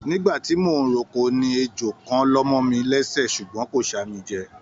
Nígbàtí mo n r'oko ní ejò kàn lọmọ mí lẹsẹ ṣugbọn kò ṣa mí jẹ.